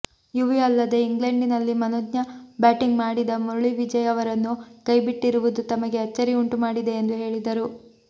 UV ಅಲ್ಲದೇ ಇಂಗ್ಲೆಂಡ್ನಲ್ಲಿ ಮನೋಜ್ಞ ಬ್ಯಾಟಿಂಗ್ ಮಾಡಿದ ಮುರಳಿ ವಿಜಯ್ ಅವರನ್ನು ಕೈಬಿಟ್ಟಿರುವುದು ತಮಗೆ ಅಚ್ಚರಿ ಉಂಟುಮಾಡಿದೆ ಎಂದು ಹೇಳಿದರು